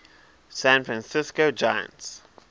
san francisco giants